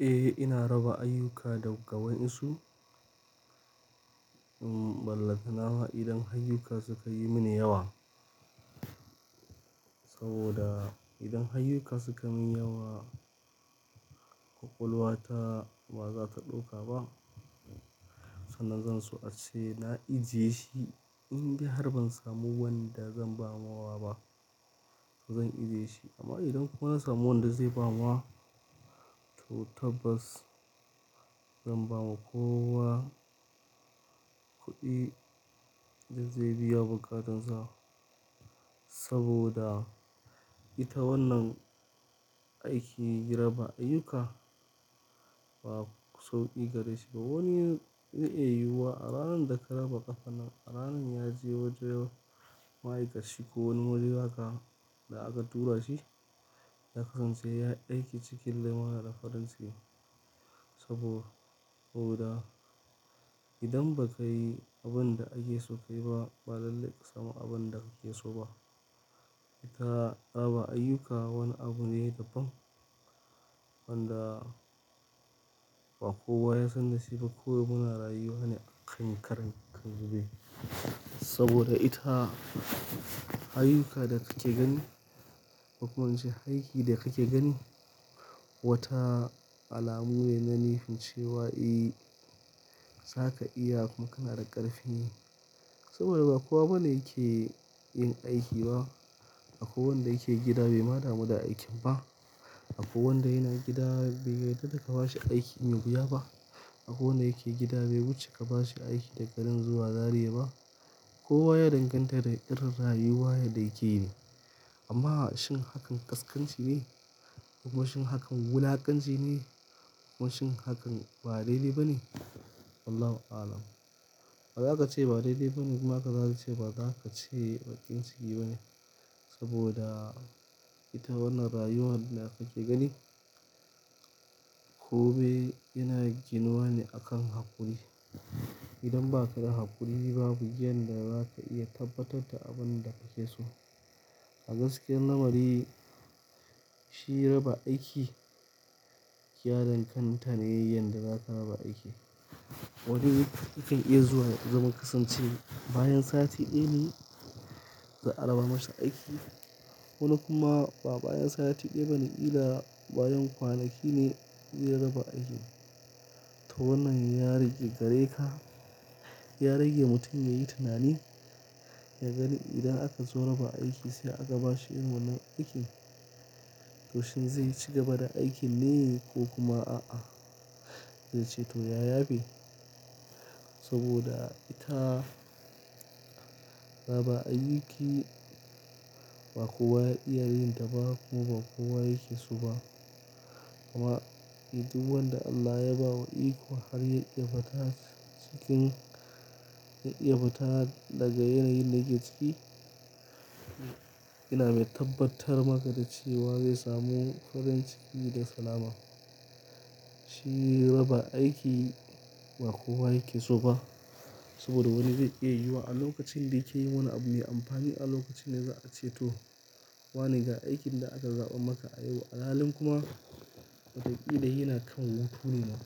Eh, ina raba ayyuka daga wayensu. In ballantanama idan hayyuka suka yi mini yawa. Saboda idan hayyuka suka min yawa, ƙwaƙwalwata ba za ta ɗauka ba. Sannan zan so ace na ijiye shi in dai har ban samu wanda zan ba wa ba, to zan ijiye shi. Amma idan kuma na samu wanda zai ba ma, to tabbas zan ba ma kowa kuɗi da zai biya buƙatansa. Saboda ita wannan aiki raba ayyuka ba sauƙi gare shi ba. Wani zai iya yiwuwa a ranar da ka raba ƙafa nan, a ranar ya je wajen ma'aikashi ko wani waje haka da aka tura shi, ya kasance yayi aiki cikin lumana da farin ciki. Sabo-- saboda idan ba kayi abun da ake so ka yi ba, ba lalle ƙa samu abun da kake so ba. Ita raba ayyuka wani abu ne da bam, wanda ba kowa ya san da shi ba. Kawai muna rayuwa ne a kan karanta ka zube. Saboda ita hayyuka da kake gani ko kuma in ce haiki da kake gani, wata alamu ne na nefin cewa eh, zaka iya kuma kana da ƙarfi. Saboda ba kowa bane yake yin aiki ba. Akwai wanda yake gida bai ma damu da aikin ba. Akwai wanda yana gida bai yadda da ka bashi aiki mai wuya ba. Akwai wanda yake gida bai wuce ka ba shi aiki daga nan zuwa Zariya ba. Kowa ya danganta da irin rayuwa yadda yake yi. Amma shin hakan ƙasƙanci ne? Ko kuma shin hakan wulakanci ne? Ko kuma shin hakan ba daidai ba ne? Allahu alam. Ba za ka ce ba daidai ba ne kuma ka dawo ka ce ba za ka ce baƙin ciki ba ne. Saboda ita wannan rayuwar da kake gani, kome yana ginuwa ne a kan haƙuri. Idan ba ka da haƙuri babu yanda za ka iya tabbatar da abun da kake so. A gaskiyan lamari shi raba aiki ya danganta ne yanda za ka raba aiki. Wani yakan iya zuwa ya zaman kasancewa bayan sati ɗaya ne za a raba masa aiki. Wani kuma ba bayan sati ɗaya ba ne, killa bayan kwanaki ne zai raba aiki. To wannan ya rage gare ka, ya rage mutum yayi tunani, ya gani idan aka zo raba aiki sai aka bashi irin wannan aikin. To shin zai ci gaba da aikin ne ko kuma a'a? Zai ce to ya yafe. Saboda ita raba ayuki ba kowa ya iya yin ta ba kuma ba kowa yake so ba. Amma duk wanda Allah ya ba wa iko har ya iya batash cikin, ya fita daga yanayin da yake ciki, yana mai tabbatar maka da cewa zai samu farin ciki da salama. Shi raba aiki ba kowa yake so ba. Saboda wani zai iya yuwa a lokacin da yake yin wani abu mai amfani a lokacin da za a ce to wane ga aikin da aka zaɓa maka a yiwu alalen kuma, watakila yana kan hutu ne ma.